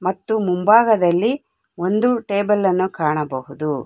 ಮತ್ತು ಮುಂಭಾಗದಲ್ಲಿ ಒಂದು ಟೇಬಲ್ ಅನ್ನು ಕಾಣಬಹುದು.